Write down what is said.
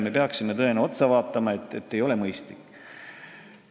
Me peaksime selle üle vaatama, see ei ole mõistlik.